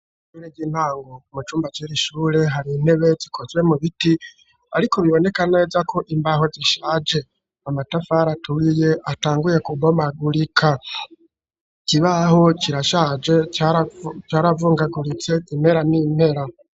Ishure ry'intango; mu cumba c'iri shure, hari intebe, zikozwe mu biti, ariko, biboneka neza ko, imbaho zishaje; amatafari aturiye, atanguye kubomagurika; ikibaho kirashaje, caravungaguritse, impera n'impera.